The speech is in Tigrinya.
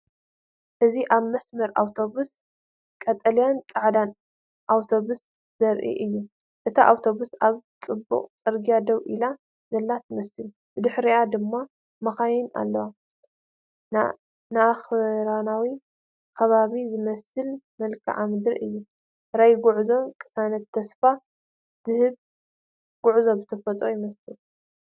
እዚ ኣብ መስመር ኣውቶቡስ ቀጠልያን ጻዕዳን ኣውቶቡስ ዘርኢ እዩ። እታ ኣውቶቡስ ኣብ ጽዑቕ ጽርግያ ደው ኢላ ዘላ ትመስል፡ ብድሕሪኣ ድማ መካይን ኣለዋ። ንኣኽራናዊ ከባቢ ዝመስል መልክዓ ምድሪ እዩ። ራእይ ጉዕዞን ቅሳነትን ተስፋ ዝህብ ጉዕዞ ብተፈጥሮ ይመስል።